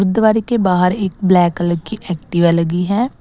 दिवारी के बाहर एक ब्लैक कलर की एक्टिवा लगी है।